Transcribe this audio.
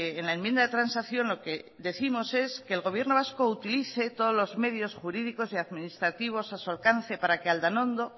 en la enmienda de transacción lo que décimos es que el gobierno vasco utilice todos los medios jurídicos y administrativos a su alcance para que aldanondo